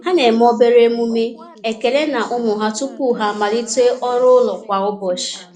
Ha na-eme obere omume ekele na ụmụ ha tupu ha amalite ọrụ ụlọ kwa ụbọchị.